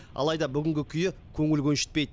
алайда бүгінгі күйі көңіл көншітпейді